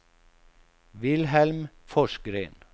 Wilhelm Forsgren